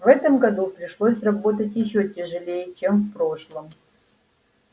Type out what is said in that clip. в этом году пришлось работать ещё тяжелее чем в прошлом